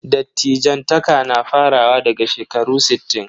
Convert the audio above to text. Dattijantaka na farawa daga shekaru sittin.